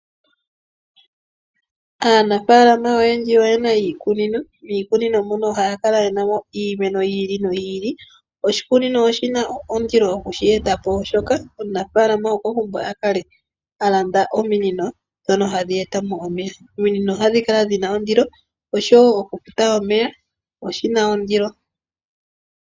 Aanafalama oyendji oyena iikunino, miikunino mono ohaya kala yenamo iimeno yi ili noyi ili. Oshikunino oshina ondilo okushi etapo oshoka omunafalama okwa pumbwa akale alanda ominino dhono hadhi etamo omeya, ominino ohadhi kala dhina ondilo, oshowo oku futa omeya oshina ondilo.